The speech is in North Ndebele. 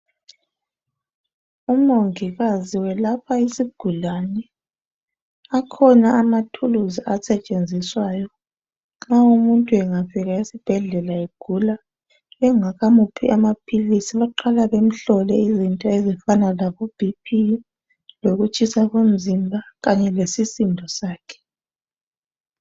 Umongikazi welapha isigulane. Akhona amathuluzi asetshenziswayo nxa umuntu engafika esibhedlela egula. Bengakamuphi amaphilisi baqala bemhlole izinto ezifana labo BP, lokutshisa komzimba kanye lesisindo sakhe.